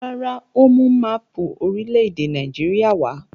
Rárá, ó mú máápù orílẹ̀-èdè Nàìjíríà wá.